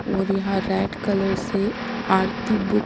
और यहां red colour से आरती बुक --